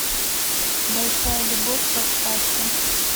большая любовь поставь ка